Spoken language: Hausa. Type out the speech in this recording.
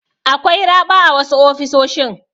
Akwai raɓa a wasu ofisoshin.